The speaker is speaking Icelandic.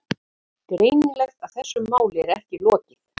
Greinilegt að þessu máli er ekki lokið.